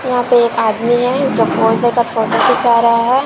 यहां पे एक आदमी है जो पोस दे कर फोटो खींचा रहा है।